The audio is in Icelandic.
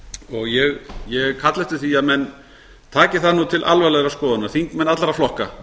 og ég kalla eftir því að menn taki það til alvarlegrar skoðunar þingmenn allra flokka